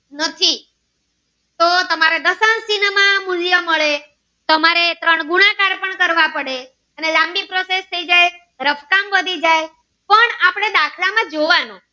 નથી તો તમારા દશાંશ ચિન્હ માં મૂલ્ય મળે તમારે તારણ ગુણાકાર પણ કરવા પડે અને લાંબી process થઈ જાય રંકટંગ વધી જાય પણ આપણે દાખલ માં જોવાનું